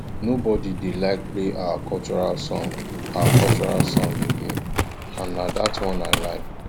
nobody dey like play our cultural song our cultural song again and na dat one i like